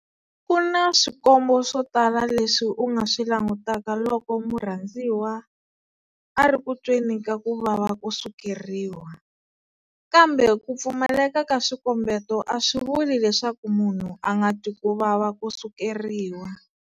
Ku na swikombo swo tala leswi u nga swi langutaka loko murhandziwa a ri ku tweni ka ku vava ko sukeriwa, kambe ku pfumaleka ka swikombeto a swi vuli leswaku munhu a nga twi ku vava ko sukeriwa.